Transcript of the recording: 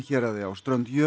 héraði á strönd